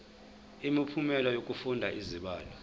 imiphumela yokufunda izibalo